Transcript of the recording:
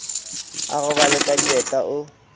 a robale ka dieta o